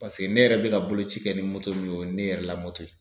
Paseke ne yɛrɛ bɛ ka boloci kɛ ni moto min o ye o ye ne yɛrɛ ka moto ye.